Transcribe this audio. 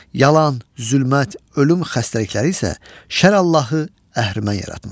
Yalan, zülmət, ölüm, xəstəlikləri isə şər Allahı əhrimə yaratmışdır.